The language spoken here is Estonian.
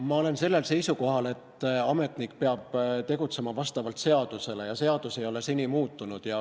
Ma olen seisukohal, et ametnik peab tegutsema seaduse järgi ja seadus ei ole seni muutunud.